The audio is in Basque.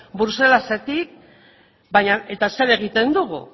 bruselasetik eta zer egiten dugu